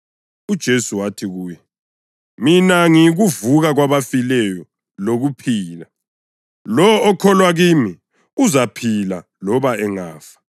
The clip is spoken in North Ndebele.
UJesu wathi kuye, “Mina ngiyikuvuka kwabafileyo lokuphila. Lowo okholwa kimi uzaphila loba engafa;